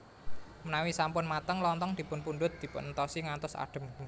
Menawi sampun mateng Lontong dipunpundhut dipunentosi ngantos adem